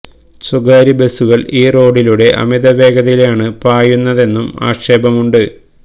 സ്വകാര്യ ബസുകള് ഈ റോഡിലൂടെ അമിത വേഗതയിലാണു പായുന്നതെന്നും ആക്ഷേപം ഉണ്ട്